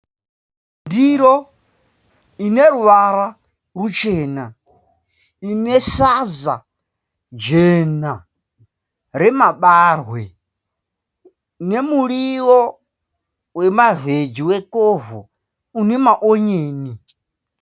Ndiro ine ruvara ruchena ine sadza jena remabarwe nemuriwo wemavheji wekovho une maonyeni.